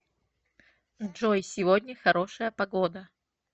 джой сегодня хорошая погода